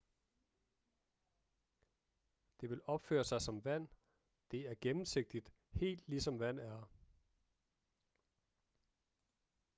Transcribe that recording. det vil opføre sig som vand det er gennemsigtigt helt ligesom vand er